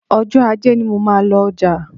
Ọjọ́ Ajé ni mo máa ń lọ ọjà